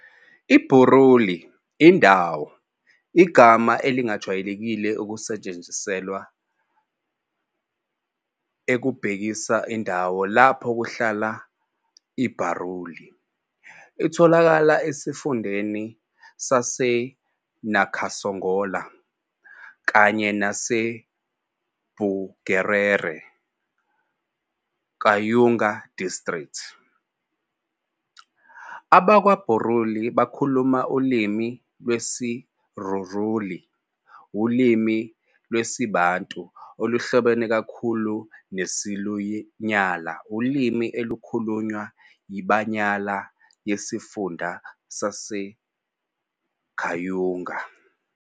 IBuruuli, indawo, igama elijwayelekile elisetshenziselwa ukubhekisa endaweni lapho kuhlala iBaruuli. Itholakala esifundeni saseNakasongola, kanye naseBugerere Kayunga District. AbakwaBaruuli bakhuluma ulimi lwesiRuruuli, ulimi lwesiBantu oluhlobene kakhulu nesiLunyala, ulimi olukhulunywa yiBanyala yesiFunda saseKayunga.